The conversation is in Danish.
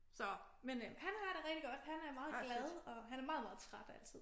Så men øh han har det rigtig godt han er meget glad og han er meget meget træt altid